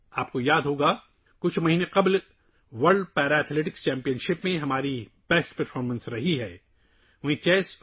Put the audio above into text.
آپ کو یاد ہوگا، ہم نے چند ماہ قبل world para athletics championship میں اپنی بہترین کارکردگی کا مظاہرہ کیا تھا